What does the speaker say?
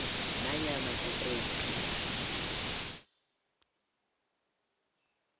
nanyana kukuphi la